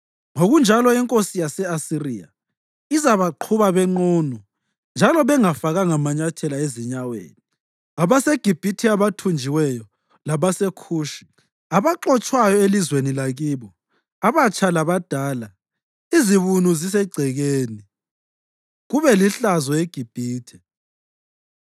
ngokunjalo inkosi yase-Asiriya izabaqhuba benqunu njalo bengafakanga manyathela ezinyaweni abaseGibhithe abathunjiweyo labaseKhushi abaxotshwayo elizweni lakibo, abatsha labadala, izibunu zisegcekeni, kube lihlazo eGibhithe.